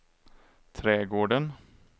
trädgården